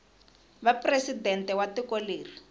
va presidente wa tiko leri